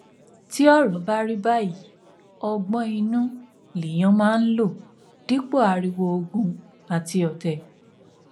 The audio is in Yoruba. tí ọrọ bá rí báyìí ọgbọn inú lèèyàn máa ń lò dípò ariwo ogun àti ọtẹ